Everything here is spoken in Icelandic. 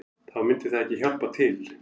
Þá myndi það ekki hjálpa til